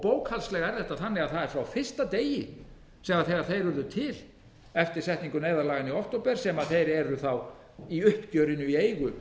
er þetta þannig að það er frá fyrsta degi þegar þeir urðu til eftir setningu neyðarlaganna í október sem þeir eru í uppgjörinu í eigu